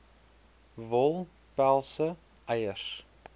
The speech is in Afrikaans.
wol pelse eiers